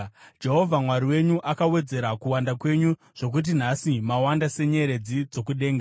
Jehovha Mwari wenyu akawedzera kuwanda kwenyu zvokuti nhasi mawanda senyeredzi dzokudenga.